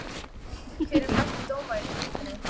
Hver er besti dómarinn í deildinni?